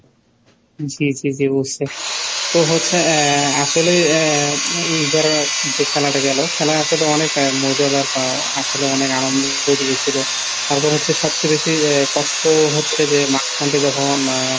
জি জি জি বুঝছি, তো হচ্ছে আহ আসলে আহ এইবার যে খেলাটা গেলো। খেলা আসলে অনেক মজাদার বা আসলে অনেক আনন্দ দিয়েছিলো। তারপর হচ্ছে সবচেয়ে বেশি কষ্ট হচ্ছে যে মাঝখান টা যখন আহ ,